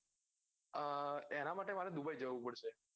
આ એના માટે મારે દુબઇ જવું પડશે.